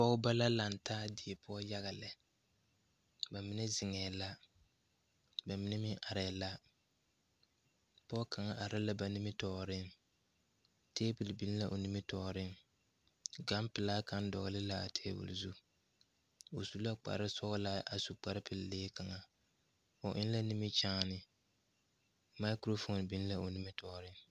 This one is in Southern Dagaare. Pɔgebɔ la laŋtaa die poɔ yaga lɛ ba mine zeŋɛɛ la ba mine meŋ arɛɛ la pɔɔ kaŋa are la ba nimitooreŋ tabole biŋ la o nimitooreŋ gan pelaa kaŋ dɔgle laa tabol zu o su la kparesɔglaa a su kparepeɛle lee kaŋa o eŋ la nimikyaane maakurofoon biŋ la o nimitooreŋ.